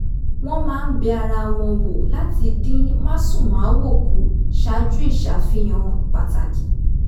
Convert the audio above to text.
wọ́n máa ń bẹ ara wọn wò láti dín másùnmáwo kù ṣáájú ìṣàfihàn pàtàkì